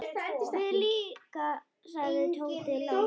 Við líka sagði Tóti lágt.